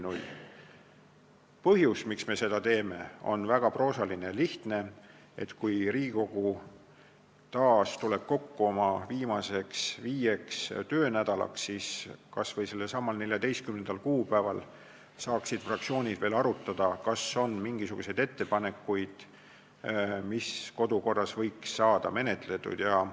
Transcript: Põhjus, miks me seda teeme, on väga proosaline ja lihtne: kui Riigikogu tuleb kokku oma viimaseks viieks töönädalaks, siis kas või sellel 14. kuupäeval saaksid fraktsioonid veel arutada, kas on mingisuguseid ettepanekuid selle kohta, mida kodukorras võiks muuta.